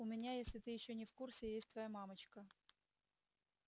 у меня если ты ещё не в курсе есть твоя мамочка